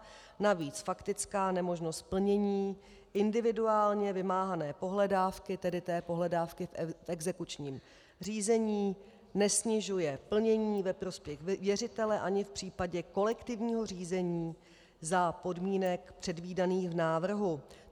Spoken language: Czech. Navíc faktická nemožnost plnění individuálně vymáhané pohledávky, tedy té pohledávky v exekučním řízení, nesnižuje plnění ve prospěch věřitele ani v případě kolektivního řízení za podmínek předvídaných v návrhu.